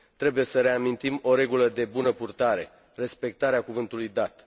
Trebuie să reamintim o regulă de bună purtare respectarea cuvântului dat.